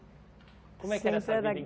Como é que era essa vida em Sempre era